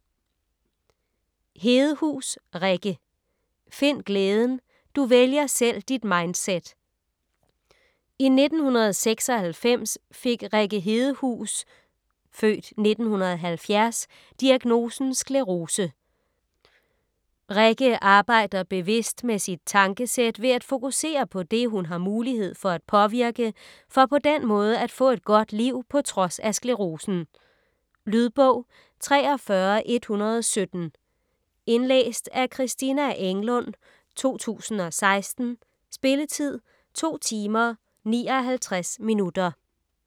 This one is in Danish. Hedehus, Rikke: Find glæden: du vælger selv dit mindset I 1996 fik Rikke Hedehus (f. 1970) diagnosen sclerose. Rikke arbejder bevidst med sit tankesæt ved at fokusere på det, hun har mulighed for at påvirke, for på den måde at få et godt liv på trods af sklerosen. Lydbog 43117 Indlæst af Christina Englund, 2016. Spilletid: 2 timer, 59 minutter.